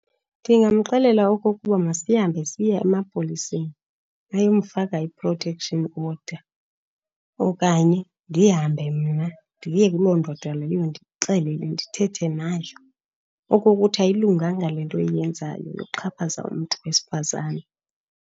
Ndingamxelela okokuba masihambe siye emapoliseni ayomfaka i-protection order. Okanye ndihambe mna ndiye kuloo ndoda leyo ndiyixelele, ndithethe nayo oko kuthi ayilunganga le nto iyenzayo yokuxhaphaza umntu wesifazane.